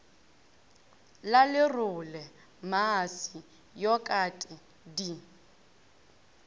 la lerole mmase yokate di